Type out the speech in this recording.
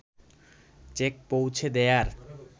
check পৌঁছে দেয়ার